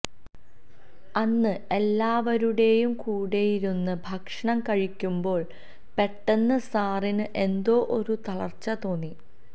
അന്ന് എല്ലാവരുടേയും കൂടെയിരുന്ന് ഭക്ഷണം കഴിക്കുമ്പോള് പെട്ടന്ന് സാറിന് എന്തോ ഒരു തളര്ച്ച തോന്നി